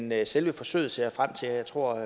men selve forsøget ser jeg frem til og jeg tror